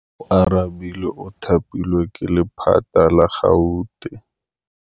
Oarabile o thapilwe ke lephata la Gauteng.